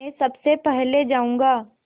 मैं सबसे पहले जाऊँगा